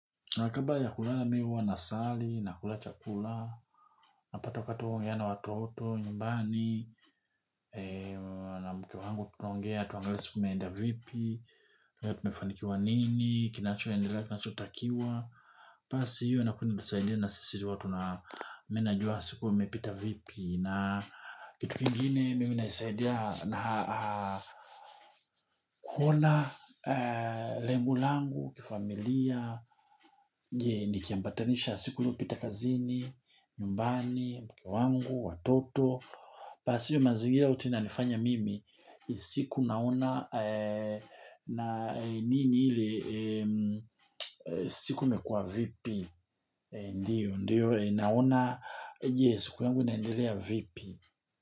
Na kabla ya kulala mimi hua na sali, nakula chakula, napata wakati wa kuongea na watoto, nyumbani, mke wangu tutaongea, tutaongea siku imeenda vipi? Tumefanikiwa nini? Kinachoendelea, tunachotakiwa basi hiyo inatusaidia na sisi huwa tuna, mimi najua siku imepita vipi na kitu kingine mimi ninasaidia na kuna lengo langu, kifamilia, je nikiambatanisha siku iliopita kazini, nyumbani, mke wangu, watoto, pasio mazingira uti inanifanya mimi siku naona na nini ile, siku imekua vipi. Ndiyo, naona, yes, siku yangu inaendelea vipi.